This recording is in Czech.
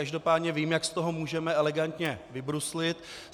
Každopádně vím, jak z toho můžeme elegantně vybruslit.